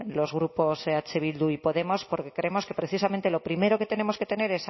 los grupos eh bildu porque creemos que precisamente lo primero que tenemos que tener